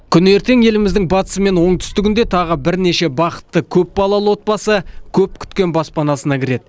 күні ертең еліміздің батысы мен оңтүстігінде тағы бірнеше бақытты көпбалалы отбасы көп күткен баспанасына кіреді